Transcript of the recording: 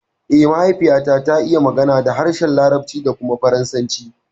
Eh, mahaifiyata ta iya magana da harshen larabci da kuma faransa